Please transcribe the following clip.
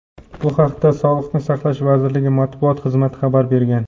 Bu haqda Sog‘liqni saqlash vazirligi Matbuot xizmati xabar bergan.